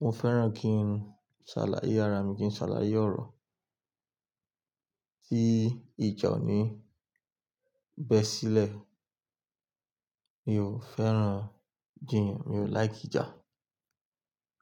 mo fẹ́ràn kí n ṣàlàyé ara mi, kí n ṣàlàyé ọ̀rọ̀ tí ìjà ò ní bẹ sílẹ̀. Mi ò fẹ́ràn jiyàn, mi ò like ija.